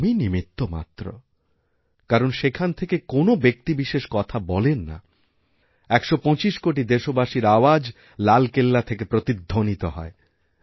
কিন্তু আমি নিমিত্ত মাত্র কারণ সেখান থেকে কোনওব্যক্তিবিশেষ কথা বলেন না ১২৫ কোটি দেশবাসীর আওয়াজ লালকেল্লা থেকে প্রতিধ্বনিতহয়